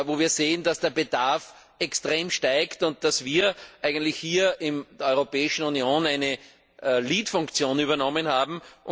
wo wir sehen, dass der Bedarf extrem steigt und dass wir hier in der Europäischen Union eine Führungsfunktion übernommen haben.